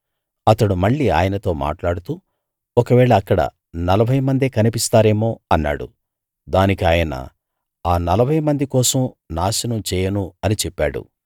అతడు మళ్ళీ ఆయనతో మాట్లాడుతూ ఒకవేళ అక్కడ నలభై మందే కనిపిస్తారేమో అన్నాడు దానికి ఆయన ఆ నలభై మంది కోసం నాశనం చేయను అని చెప్పాడు